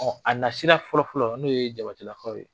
a nasira fɔlɔ fɔlɔ n'o ye Jabatelaw ye,